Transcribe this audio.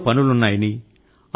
ఎన్నో పనులున్నాయని